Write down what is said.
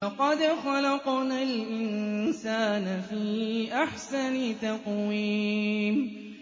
لَقَدْ خَلَقْنَا الْإِنسَانَ فِي أَحْسَنِ تَقْوِيمٍ